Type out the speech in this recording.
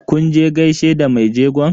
Kun je gaishe da mai jegon?